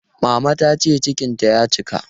Mama ta ce cikinta ya cika.